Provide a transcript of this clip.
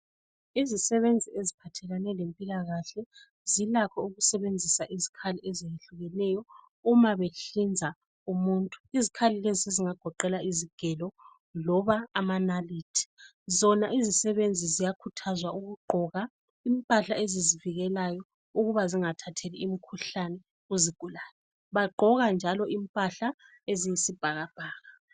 Izisebenzi eziphathelane lezempilakahle zilakho ukusebenzisa izikhathi ezehlukeneyo uma behlinza umuntu. Izikhali lezi zingagoqela izigelo loba amanalithi. Zona izisebenzi ziyakhuthazwa ukugqoka impahla bezivikele ukuba zingathatheli imikhuhlane kuzigulane. Bagqoka njalo impahla eziyisibhakabhaka.